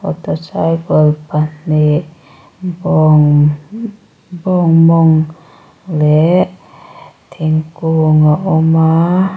auto cycle pahnih bawng bawng mawng leh thingkung a awm a.